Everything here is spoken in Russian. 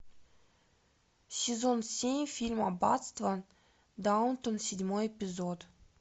сезон семь фильм аббатство даунтон седьмой эпизод